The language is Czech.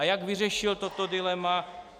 A jak vyřešil toto dilema?